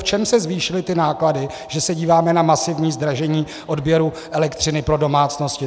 V čem se zvýšily ty náklady, že se díváme na masivní zdražení odběru elektřiny pro domácnosti.